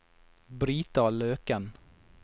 Brita Løken